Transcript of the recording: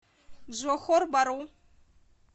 джохор бару